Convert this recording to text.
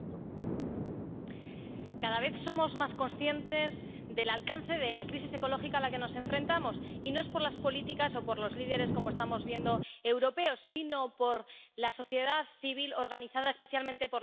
Señor presidente, cada vez somos más conscientes del alcance de la crisis ecológica a la que nos enfrentamos, y no es por las políticas o por los líderes —como estamos viendo— europeos, sino por la sociedad civil organizada, especialmente por los jóvenes.